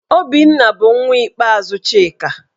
Obinna bụ nwa ikpeazụ Chika.